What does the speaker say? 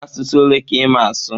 Asụsụ ole ka ịma asụ?